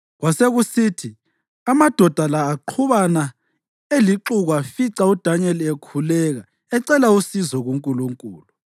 Kwasekusithi amadoda la aqhubana elixuku afica uDanyeli ekhuleka ecela usizo kuNkulunkulu.